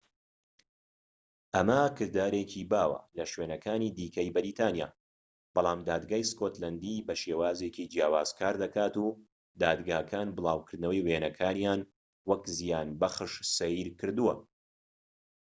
ئەمە کردارێکی باوە لە شوێنەکانی دیکەی بەریتانیا بەڵام دادگای سکۆتلەندی بە شێوازێکی جیاواز کار دەکات و دادگاکان بڵاوکردنەوەی وێنەکانیان وەک زیانبەخش سەیر کردووە